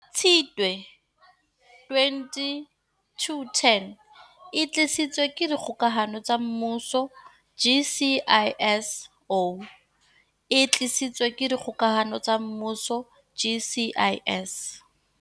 Tshitwe 2021, o e tlisetswa ke Dikgokahano tsa Mmuso GCIS, e tlisetswa ke Dikgokahano tsa Mmuso GCIS.